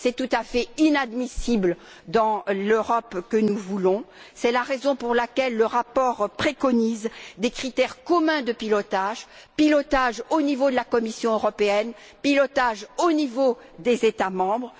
C'est tout à fait inadmissible dans l'Europe que nous voulons. C'est la raison pour laquelle le rapport préconise des critères communs de pilotage, au niveau de la Commission européenne et au niveau des États membres.